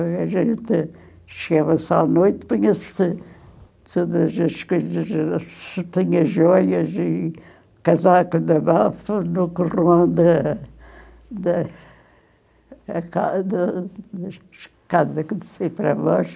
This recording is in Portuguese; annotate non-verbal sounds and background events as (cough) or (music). A gente chegava só à noite, tinha-se todas as coisas, (unintelligible) se tinha joias e casaco de bafo (unintelligible) da da da escada escada que descia para baixo.